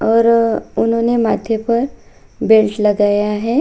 और उन्होंने माथे पर बेल्ट लगाया है।